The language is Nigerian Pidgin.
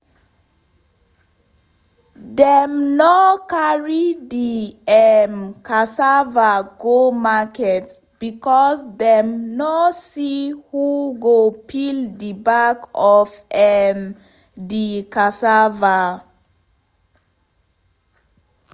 dem nor carry de um cassava go market becos dem nor see who go peel de back of um de cassava